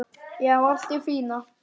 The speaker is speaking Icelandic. Já, allt í fína.